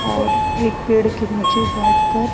और एक पेड़ के नीचे बैठ कर--